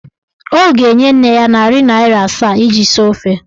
Ọ ga-enye nne ya narị naịra asaa iji sie ofe.